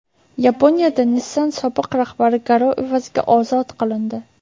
Yaponiyada Nissan sobiq rahbari garov evaziga ozod qilindi.